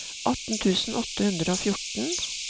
atten tusen åtte hundre og fjorten